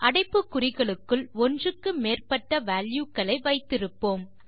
அடைப்புக்குறிகளுக்குள் ஒன்றுக்கு மேற்பட்ட வால்யூ க்களை வைத்திருப்போம்